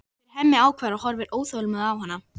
spyr Hemmi ákafur og horfir óþolinmóður á hana.